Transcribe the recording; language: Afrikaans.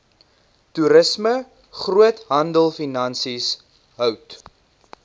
toerisme groothandelfinansies hout